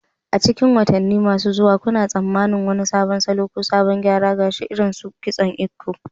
A cikin watanni masu zuwa, kuna tsammanin wani sabon salo ko salon gyara gashi, irin su kitson Eko?